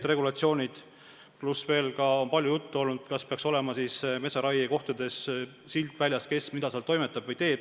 Palju on olnud juttu sellest, kas metsaraie kohtades peaks olema sildid väljas, kes mida seal toimetab või teeb.